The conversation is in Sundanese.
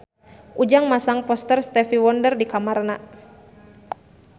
Ujang masang poster Stevie Wonder di kamarna